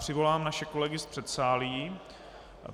Přivolám naše kolegy z předsálí.